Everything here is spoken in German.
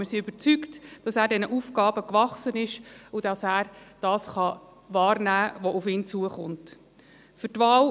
Wir sind überzeugt, dass er diesen Aufgaben gewachsen ist und das, was auf ihn zukommt, wird wahrnehmen können.